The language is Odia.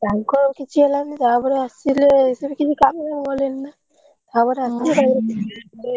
ତାଙ୍କର କିଛି ହେଲାନି ତାପରେ ଆସିଲେ ସିଏ ବି କିଛି କାମ କଲେନିନା ତାପରେ ଆମ